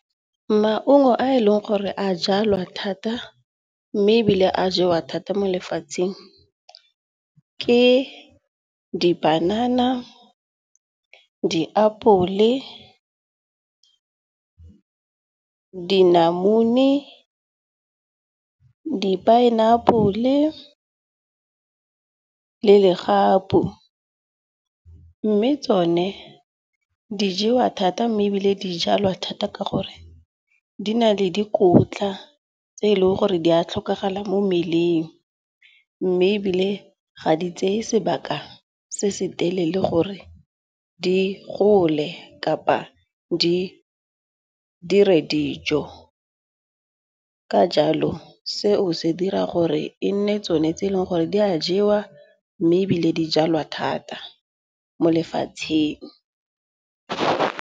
Maungo a e leng gore a jalwa thata. Mme ebile a jewa thata mo lefatsheng, ke dipanana, diapole, dinamune, di-pineapple le le legapu. Mme tsone di jewa thata mme ebile di jalwa thata ka gore di na le dikotla tse e leng gore di a tlhokagala mo mmeleng. Mme ebile ga di tseye sebaka se se telele gore di gole kapa di dire dijo. Ka jalo seo se dira gore e nne tsone tse e leng gore di a jewa mme ebile di jalwa thata mo lefatsheng.